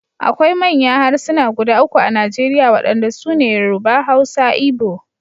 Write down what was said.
Akwai manya harsuna guda uku a Najeriya wadanda su ne Yoruba, Hausa Igbo.